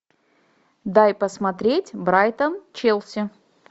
дай посмотреть брайтон челси